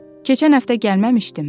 Keçən həftə gəlməmişdinmi?